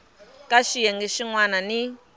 ka xiyenge xin wana ni